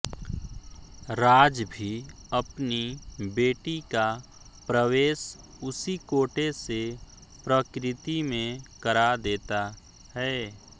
राज भी अपनी बेटी का प्रवेश उसी कोटे से प्रकृति में करा देता है